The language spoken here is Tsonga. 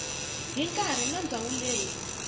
hi nkarhi na ndhawu leyi